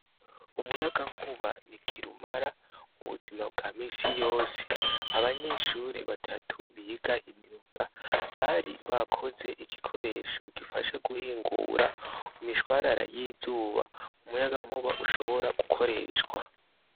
Umuyaga nkuba ni kirumara ubuzima bwa misi yose abanyeshure batatu biga imyuga bari bakoze igikoresho gifasha guhingura imishwarara y' izuba umuyaga nkuba ushobora gukoreshwa.